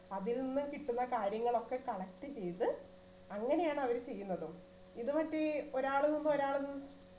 അതിൽനിന്നു കിട്ടുന്ന കാര്യങ്ങളൊക്കെ collect ചെയ്ത് അങ്ങനെയാണ് അവർ ചെയ്യുന്നത് ഇത് മറ്റേ ഒരാള് നിന്ന് ഒരാള് നിന്ന്